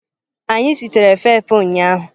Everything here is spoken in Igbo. Anyị sitere efefe ụnyahụ.